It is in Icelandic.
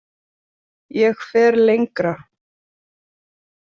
Ég fer lengra.